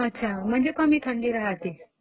अच्छा म्हणजे कमी थंडी राहते.